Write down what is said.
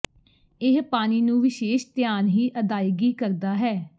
ਇਹ ਪਾਣੀ ਨੂੰ ਵਿਸ਼ੇਸ਼ ਧਿਆਨ ਹੀ ਅਦਾਇਗੀ ਕਰਦਾ ਹੈ